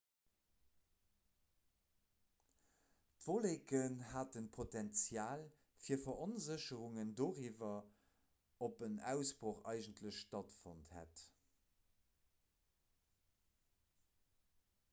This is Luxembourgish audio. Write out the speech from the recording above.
d'wolleken haten d'potenzial fir veronsécherung doriwwer ob en ausbroch eigentlech stattfonnt hätt